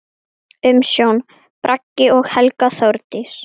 Umsjón: Bragi og Helga Þórdís.